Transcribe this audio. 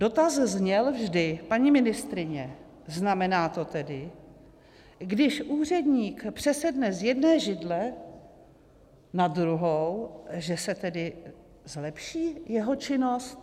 Dotaz vždy zněl: Paní ministryně, znamená to tedy, když úředník přesedne z jedné židle na druhou, že se tedy zlepší jeho činnost?